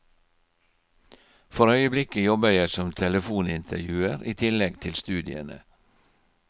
For øyeblikket jobber jeg som telefonintervjuer i tillegg til studiene.